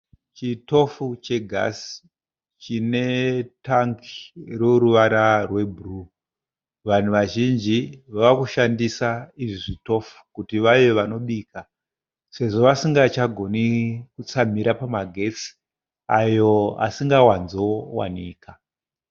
Chitofu chegasi chine tangi roruvara rwebhuruu .Vanhu vazhinji vave kushandisa izvi zvitofu kuti vave vanobika sezvo vasingachagoni kutsamira pamagetsi ayo asingawanzowanikwa.